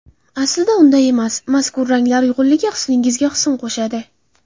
Aslida unday emas, mazkur ranglar uyg‘unligi husningizga husn qo‘shadi.